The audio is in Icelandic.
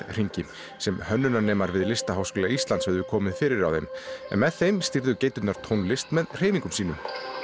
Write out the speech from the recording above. hringi sem við Listaháskóla Íslands höfðu komið fyrir á þeim en með þeim stýrðu geiturnar tónlist með hreyfingum sínum